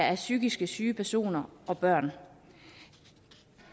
af psykisk syge personer og børn